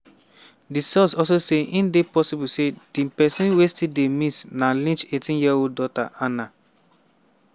di source also say e dey possible say di pesin wey still dey miss na lynch 18-year-old daughter hannah.